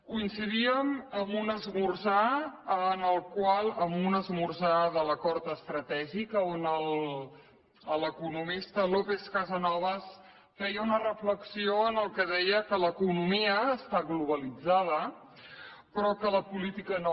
coincidíem en un esmorzar en un esmorzar de l’acord estratègic on l’economista lópez casasnovas feia una reflexió en què deia que l’economia està globalitzada però que la política no